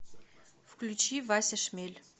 включи вася шмель